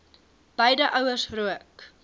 beide ouers rook